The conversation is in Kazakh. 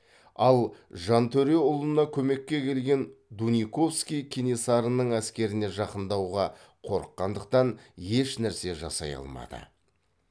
ал жантөреұлына көмекке келген дуниковский кенесарының әскеріне жақындауға қорыққандықтан ешнәрсе жасай алмады